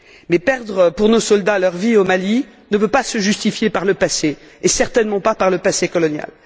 Mais perdre, pour nos soldats, leur vie au Mali ne peut pas se justifier par le passé, et certainement pas par le passé colonial.